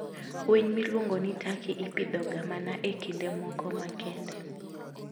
Winy miluongo ni Turkey ipidhoga mana e kinde moko makende.